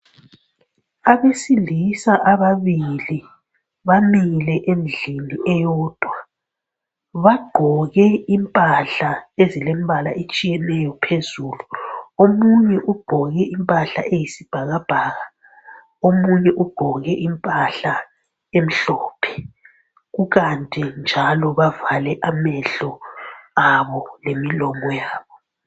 Abesilisa ababili bamile endlini eyodwa, bagqoke impahla ezilembala etshiyeneyo phezulu. Omunye ugqoke impahla eyisibhakabhaka, omunye ugqoke impahla emhlophe kukanti njalo bavale amehlo abo lemilomo yabo.